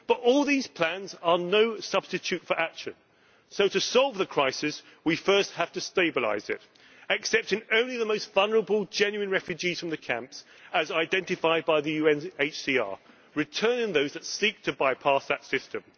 But all these plans are no substitute for action, so to solve the crisis we first have to stabilise it, accepting only the most vulnerable genuine refugees from the camps, as identified by the UNHCR, returning those who seek to bypass that system.